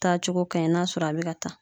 Taa cogo kaɲi n'a sɔrɔ a be ka taa